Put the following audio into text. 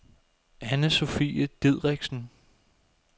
Anne-Sofie Didriksen